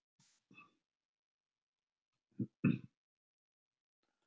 Voðalega eruð þið vitlausir strákar!